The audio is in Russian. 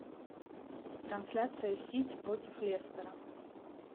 трансляция сити против лестера